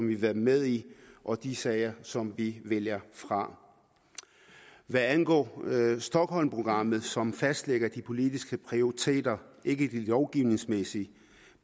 vil være med i og de sager som vi vælger fra hvad angår stockholmprogrammet som fastlægger de politiske prioriteter ikke de lovgivningsmæssige